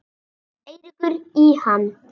Eiríkur í hann.